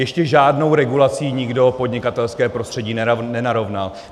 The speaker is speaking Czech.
Ještě žádnou regulací nikdo podnikatelské prostředí nenarovnal.